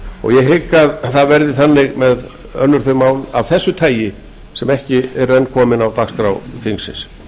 ég hygg að það verði þannig með önnur þau mál af þessu tagi sem ekki eru enn komin á dagskrá þingsins